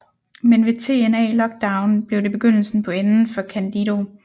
Men ved TNA Lockdown blev det begyndelsen på enden for Candido